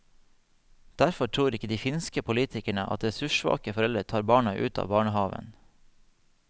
Derfor tror ikke de finske politikerne at ressurssvake foreldre tar barna ut av barnehaven.